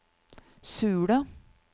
Sula